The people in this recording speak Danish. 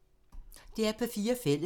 DR P4 Fælles